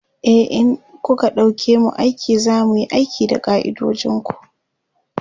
e in kuka ɗauke mu aiki zamuyi aiki da ka'idojinku